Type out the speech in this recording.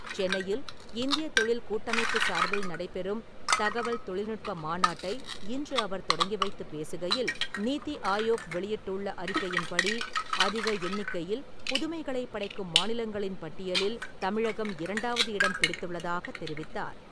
சென்னையில் இந்திய தொழில் கூட்டமைப்பு சார்பில் நடைபெறும் தகவல் தொழில்நுட்ப மாநாட்டை இன்று அவர் தொடங்கி வைத்து பேசுகையில், நீத்தி ஆயோக் வெளியிட்டுள்ள அறிக்கையின்படி, அதிக எண்ணிக்கையில் புதுமைகளைப் படைக்கும் மாநிலங்களின் பட்டியலில் தமிழகம் இரண்டாவது இடம் பிடித்துள்ளதாகத் தெரிவித்தார்.